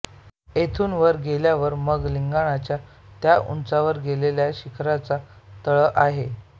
येथून वर गेल्यावर मग लिंगाण्याच्या त्या उंचावत गेलेल्या शिखराचा तळ आहे